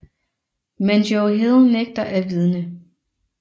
Men Joe Hill nægter at vidne